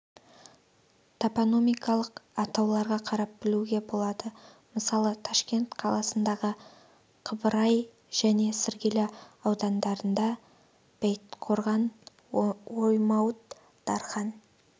топонимикалық атауларға қарап білуге болады мысалы ташкент қаласындағы қыбырай және сіргелі аудандарында бәйітқорған оймауыт дархан